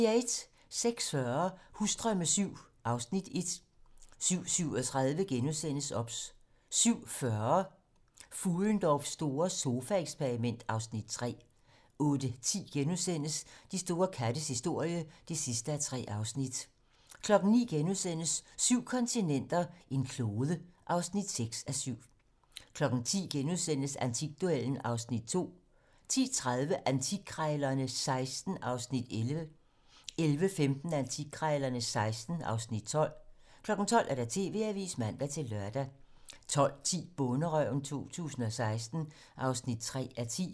06:40: Husdrømme VII (Afs. 1) 07:37: OBS * 07:40: Fuhlendorffs store sofaeksperiment (Afs. 3) 08:10: De store kattes historie (3:3)* 09:00: Syv kontinenter, en klode (6:7)* 10:00: Antikduellen (Afs. 2)* 10:30: Antikkrejlerne XVI (Afs. 11) 11:15: Antikkrejlerne XVI (Afs. 12) 12:00: TV-Avisen (man-lør) 12:10: Bonderøven 2016 (3:10)